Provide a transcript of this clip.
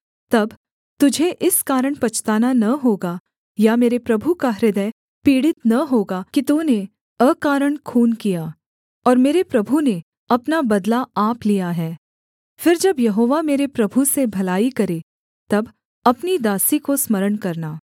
तब तुझे इस कारण पछताना न होगा या मेरे प्रभु का हृदय पीड़ित न होगा कि तूने अकारण खून किया और मेरे प्रभु ने अपना बदला आप लिया है फिर जब यहोवा मेरे प्रभु से भलाई करे तब अपनी दासी को स्मरण करना